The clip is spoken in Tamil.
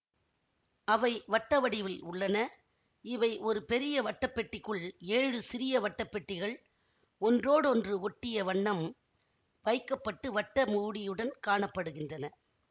அவை வட்ட வடிவில் உள்ளன இவை ஒரு பெரிய வட்டப் பெட்டிக்குள் ஏழு சிறிய வட்டப் பெட்டிகள் ஒன்றோடொன்று ஒட்டிய வண்ணம் வைக்க பட்டு வட்ட மூடியுடன் காண படுகின்றன